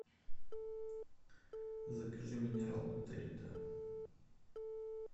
закажи минералку дарида